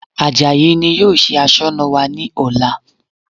Àjàyí ni yóò ṣe Aṣọ́nà wa ní ọ̀la